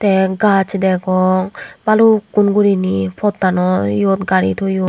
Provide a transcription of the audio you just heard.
te gach degong balukkun guriney pottanoyot gari toyon.